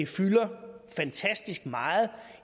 fylder fantastisk meget